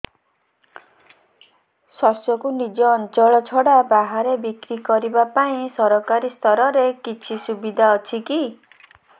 ଶସ୍ୟକୁ ନିଜ ଅଞ୍ଚଳ ଛଡା ବାହାରେ ବିକ୍ରି କରିବା ପାଇଁ ସରକାରୀ ସ୍ତରରେ କିଛି ସୁବିଧା ଅଛି କି